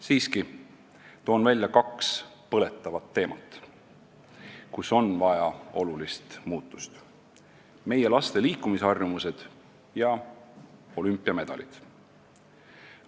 Siiski toon välja kaks põletavat teemat, kus on vaja olulisi muutusi: meie laste liikumisharjumused ja olümpiamedalid.